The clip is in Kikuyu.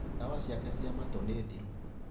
Ndawa ciake cia matũ nĩ thiru.